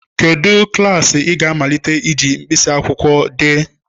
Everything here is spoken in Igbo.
Kedu klaasị ị ga-amalite iji mkpịsị akwụkwọ dee?